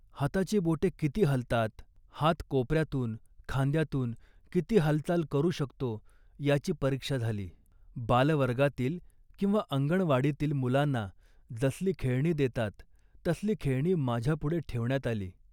हाताची बोटे किती हालतात, हात कोपऱ्यातून, खांद्यातून किती हालचाल करू शकतो याची परीक्षा झाली. बालवर्गातील किंवा अंगणवाडीतील मुलांना जसली खेळणी देतात तसली खेळणी माझ्यापुढे ठेवण्यात आली